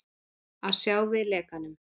Að sjá við lekanum